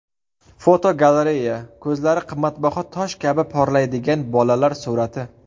Fotogalereya: Ko‘zlari qimmatbaho tosh kabi porlaydigan bolalar surati.